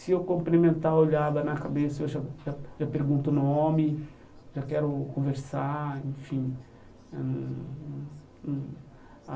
Se eu cumprimentar, eu olhava na cabeça, eu já já já pergunto o nome, já quero conversar, enfim eh não não.